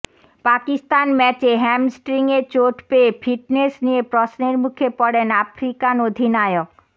পাকিস্তান ম্যাচে হ্যামস্ট্রিংয়ে চোট পেয়ে ফিটনেস নিয়ে প্রশ্নের মুখে পড়েন আফ্রিকান অধিনায়ক